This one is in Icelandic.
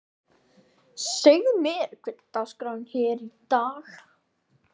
Segðu mér, hver er dagskráin hér í dag?